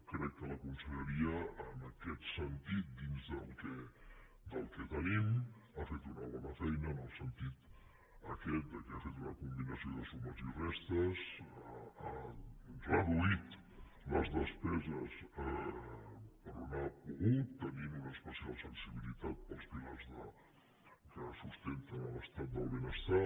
crec que la conselleria en aquest sentit dins del que tenim ha fet una bona feina en el sentit aquest que ha fet una combinació de sumes i restes ha reduït les despeses per on ha pogut tenint una especial sensibilitat pels pilars que sustenten l’estat del benestar